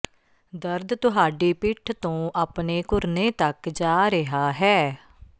ਦਰਦ ਤੁਹਾਡੀ ਪਿੱਠ ਤੋਂ ਆਪਣੇ ਘੁਰਨੇ ਤੱਕ ਜਾ ਰਿਹਾ ਹੈ